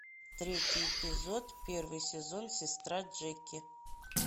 третий эпизод первый сезон сестра джеки